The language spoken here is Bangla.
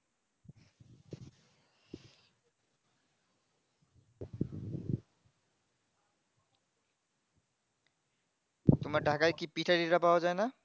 তোমার ঢাকায় কি পিঠা টিঠা পাওয়া যায় না?